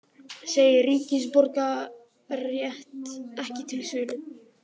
Segir ríkisborgararétt ekki til sölu